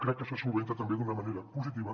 crec que se soluciona també d’una manera positiva